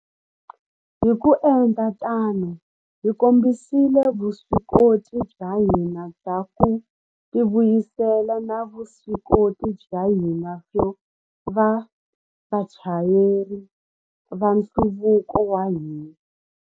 Hi ku endla tano, hi kombisile vuswikoti bya hina bya ku tivuyisela na vuswikoti bya hina byo va vachayeri va nhluvuko wa hina.